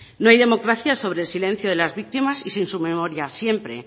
no hay democracia sobre el silencio de las víctimas y sin su memoria siempre